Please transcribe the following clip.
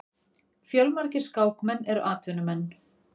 Fjölmargir skákmenn eru atvinnumenn.